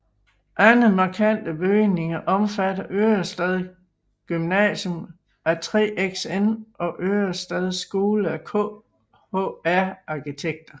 Andre markante bygninger omfatter Ørestad Gymnasium af 3XN og Ørestad Skole af KHR arkitekter